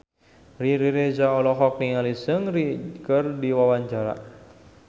Riri Reza olohok ningali Seungri keur diwawancara